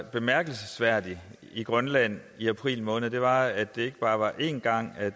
bemærkelsesværdigt i grønland i april måned var at det ikke bare var en gang at